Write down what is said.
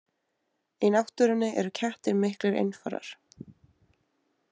Í náttúrunni eru kettir miklir einfarar.